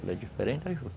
Ela é diferente da juta.